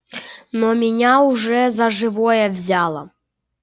но меня уже за живое взяло